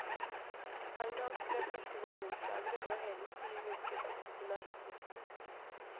Sangen ble hans første millionslager og lå hele syv uker på toppen av hitlisten.